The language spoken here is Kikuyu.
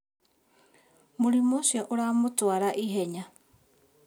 Mũrimũũcio ũramũtwara ihenya